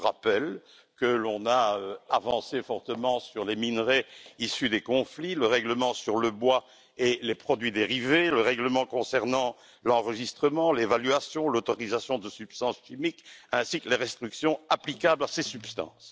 Je rappelle que l'on a avancé fortement sur le dossier des minerais issus des conflits, le règlement sur le bois et les produits dérivés, le règlement concernant l'enregistrement, l'évaluation, l'autorisation de substances chimiques ainsi que les restrictions applicables à ces substances.